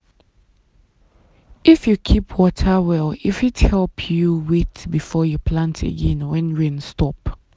if you keep water well e fit help you wait before you plant again when rain stop.